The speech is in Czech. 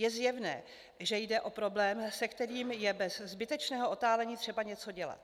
Je zjevné, že jde o problém, se kterým je bez zbytečného otálení třeba něco dělat.